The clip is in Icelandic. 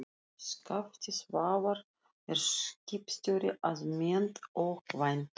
Skafti Svavar er skipstjóri að mennt og kvæntur